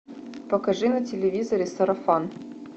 покажи на телевизоре сарафан